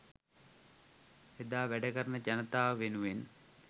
එදා වැඩකරන ජනතාව වෙනුවෙන්